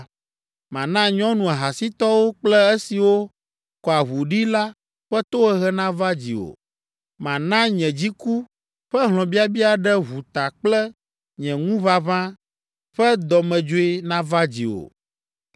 Mana nyɔnu ahasitɔwo kple esiwo kɔa ʋu ɖi la ƒe tohehe nava dziwò. Mana nye dziku ƒe hlɔ̃biabia ɖe ʋu ta kple nye ŋuʋaʋã ƒe dɔmedzoe nava dziwò.